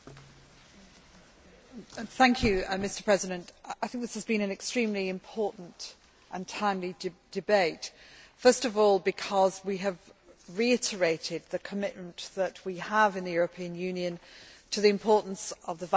Mr President, I think this has been an extremely important and timely debate, first of all, because we have reiterated the commitment that we have in the European Union to the importance of the values of human rights.